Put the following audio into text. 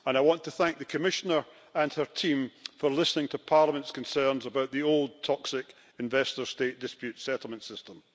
I want to thank the Commissioner and her team for listening to Parliament's concerns about the old and toxic investor state dispute settlement system.